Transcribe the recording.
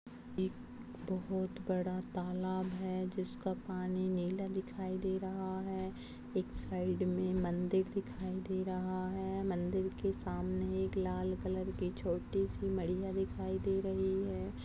एक बहुत बड़ा तालाब है जिसका पानी नीला दिखाई दे रहा है एक साइड में मंदिर दिखाई दे रहा है मंदिर के सामने एक लाल कलर की छोटी- सी मढ़िया दिखाई दे रही हैं।